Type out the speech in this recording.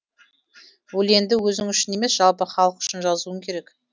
өлеңді өзің үшін емес жалпы халық үшін жазуың керек